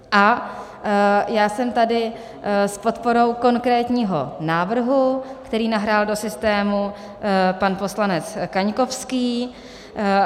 A já jsem tady s podporou konkrétního návrhu, který nahrál do systému pan poslanec Kaňkovský.